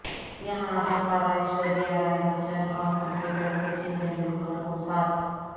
یہاں اداکارہ ایشوریہ رائے بچن اور کرکٹر سچن تنڈولکر کو ساتھ